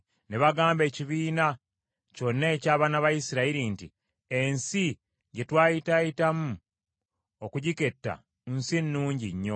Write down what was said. ne bagamba ekibiina kyonna eky’abaana ba Isirayiri nti, “Ensi gye twayitaayitamu okugiketta, nsi nnungi nnyo.